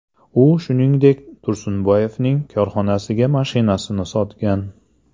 U, shuningdek, Tursunboyevning korxonasiga mashinasini sotgan.